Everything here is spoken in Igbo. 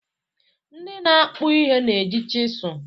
Ndị na-akpụ ihe na-eji chịsụ